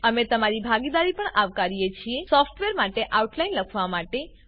અમે તમારી ભાગીદારી પણ આવકારીએ છીએ સોફ્ટવેર માટે આઉટલાઈન લખવા માટે